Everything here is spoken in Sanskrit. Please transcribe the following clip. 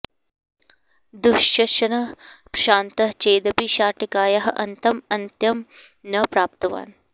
दुःशशसनः श्रान्तः चेदपि शाटिकायाः अन्तं अन्त्यं न प्राप्तवान्